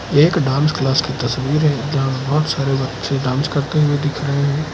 एक dance class की तस्वीर है जहां बहोत सारे बच्चे डांस करते हुए दिख रहे हैं।